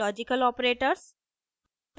logical operators